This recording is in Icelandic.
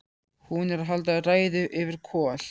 Hún er að halda ræðu yfir Kol